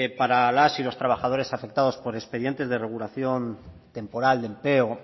para las y los trabajadores afectados por expedientes de regulación temporal de empleo